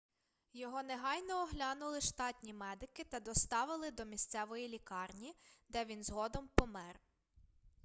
його негайно оглянули штатні медики та доставили до місцевої лікарні де він згодом помер